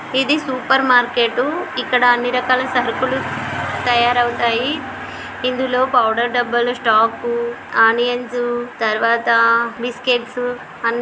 ఇది supermarket ఇక్కడ అన్ని రకాల సరుకులు తయరవుతాయి ఇందులో పౌడర్ డబ్బాల స్టాక్ ఆనియన్స్ తర్వాత బిస్కెట్స్ అన్ని--